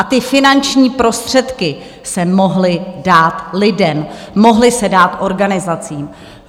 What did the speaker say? A ty finanční prostředky se mohly dát lidem, mohly se dát organizacím.